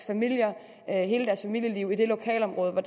at tage hele deres familieliv i det lokalområde hvor